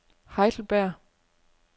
Heidelberg